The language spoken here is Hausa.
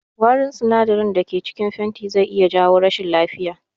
Wari sinadarai da cikin fenti zai iya jawo rashin lafiya